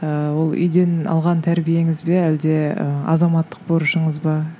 ііі ол үйден алған тәрбиеңіз бе әлде ы азаматтық борышыңыз ба